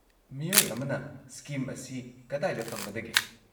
ꯃꯤꯑꯣꯏ ꯑꯃꯅ ꯁ꯭ꯀꯤꯝ ꯑꯁꯤ ꯀꯗꯥꯏꯗ ꯐꯪꯒꯗꯒꯦ?